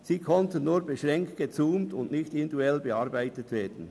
Sie konnten nur beschränkt gezoomt und nicht individuell bearbeitet werden.